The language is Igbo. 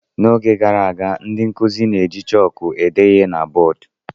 N'oge gara aga, ndị nkuzi na-eji chọọkụ ede ihe na bọọdụ.